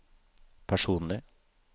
personlig